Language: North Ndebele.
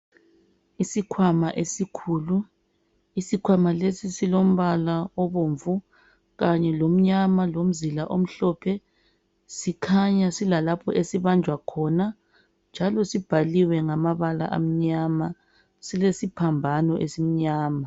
Isikhwama esikhulu isikhwama lesi silompala obomvu kanye lomnyama lomzila omhlophe sikhanya silalapho esibanjwa khona njalo sibhaliwe ngamabala amanya silesiphambano esimnyama.